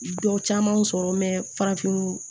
Dɔ camanw sɔrɔ farafinw